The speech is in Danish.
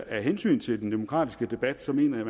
af hensyn til den demokratiske debat mener jeg